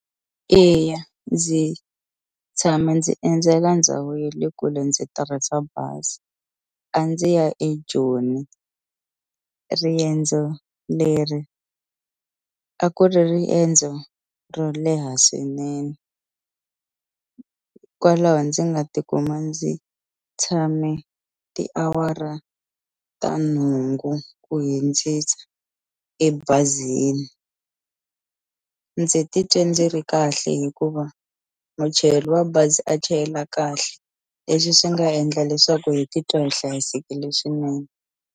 Eya ndzi tshama ndzi endzela ndhawu ye le kule ndzi tirhisa bazi a ndzi ya eJoni riendzo leri a ku ri riendzo ro leha swinene kwalaho ndzi nga tikuma ndzi tshame tiawara ta nhungu ku hundzisa ebazini ndzi titwe ndzi ri kahle hikuva muchayeli wa bazi a chayela kahle leswi swi nga endla leswaku hi titwa hi hlayisekile swinene.